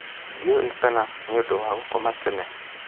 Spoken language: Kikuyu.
Ndiũĩ kana nĩũndũ wa gũkoma tene?